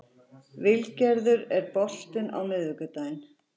Vilgerður, er bolti á miðvikudaginn?